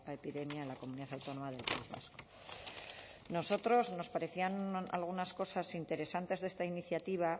epidemia en la comunidad autónoma del país vasco nosotros nos parecían algunas cosas interesantes de esta iniciativa